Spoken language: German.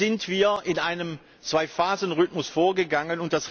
So sind wir in einem Zwei Phasen Rhythmus vorgegangen.